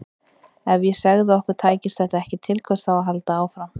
Ef ég segði að okkur tækist þetta ekki, til hvers þá að halda áfram?